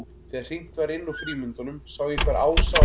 Þegar hringt var inn úr frímínútunum sá ég hvar Ása og